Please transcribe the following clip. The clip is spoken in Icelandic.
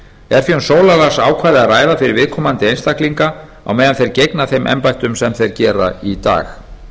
er því um sólarlagsákvæði að ræða fyrir viðkomandi einstaklinga á meðan þeir gegna þeim embættum sem þeir gera í dag